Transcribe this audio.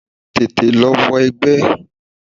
Tètè lọ wọ egbẹ́!